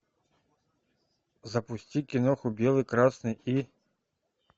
запусти киноху белый красный и